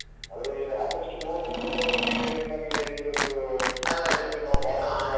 ಅದ್ರಲ್ಲಿ ಆಗಸ್ಟ್ ಮೂವತ್ತೊಂದರವರೆಗೆ ನಿಮ್ಮಲ್ಲಿ ಇದ್ರದ್ದು ಇರ್ಯಾಲಿ ಮಾಡುವ ಹಾಲಲ್ಲಿ ಮಾಡುವ.